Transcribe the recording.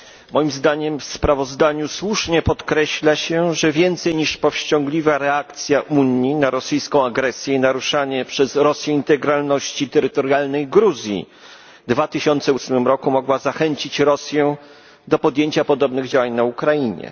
Moim zdaniem w sprawozdaniu słusznie podkreśla się, że więcej niż powściągliwa reakcja Unii na rosyjską agresję i naruszanie przez Rosję integralności terytorialnej Gruzji w 2008 roku mogła zachęcić Rosję do podjęcia podobnych działań na Ukrainie.